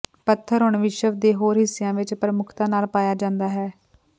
ਪੱਥਰ ਹੁਣ ਵਿਸ਼ਵ ਦੇ ਹੋਰ ਹਿੱਸਿਆਂ ਵਿੱਚ ਪ੍ਰਮੁੱਖਤਾ ਨਾਲ ਪਾਇਆ ਜਾਂਦਾ ਹੈ